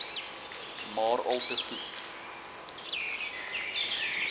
maar alte goed